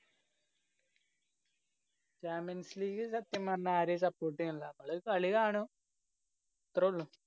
champions league സത്യം പറഞ്ഞാ ആരേം support ചെയ്യണില്ലാ. നമ്മള് കളി കാണും. അത്രള്ളൂ.